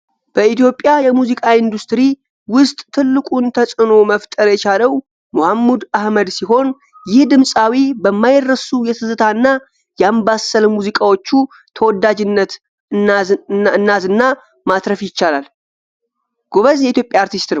በኢትዮጵያ የሙዚቃ ኢንዱስትሪ ውስጥ ትልቁን ተዕኖ መፍጠር የቻለው መሀሙድ አህመድ ሲሆን ይህ ድምፃዊ በማይረሱ የትዝታ እና የአምባሰል ሙዚቃዎቹ ተወዳጅነት እናዝናን ማፍራት ይቻላል። ጎበዝ የኢትዮጵያ አርቲስት ነው ።